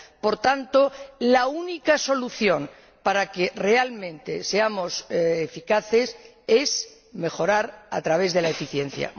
Por tanto, la única solución para que realmente seamos eficaces es mejorar a través de la eficiencia.